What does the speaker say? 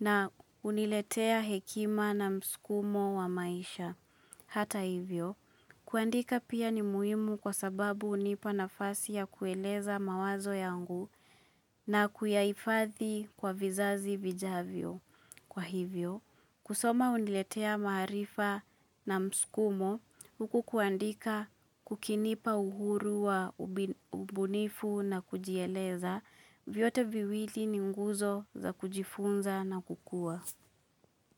na uniletea hekima na msukumo wa maisha. Hata hivyo, kuandika pia ni muimu kwa sababu unipa nafasi ya kueleza mawazo yangu na kuyaifathi kwa vizazi vijavyo. Kwa hivyo, kusoma uniletea maarifa na msukumo, huku kuandika kukinipa uhuru wa ubunifu na kujieleza, vyote viwili ni mguzo za kujifunza na kukua.